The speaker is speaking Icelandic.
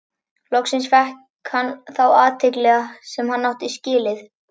Loksins fékk hann þá athygli sem hann átti skilið.